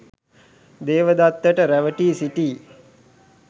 දේවදත්තට රැවටී සිටි